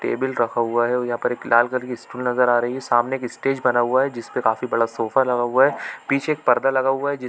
--table रखा हुआ है और यहाँ पर एक लाल कलर की स्टूल नज़र आ रही है सामने एक स्टेज बना हुआ है जिसपे काफी बड़ा सोफा लगा हुआ है पीछे एक पर्दा लगा हुआ है जिस--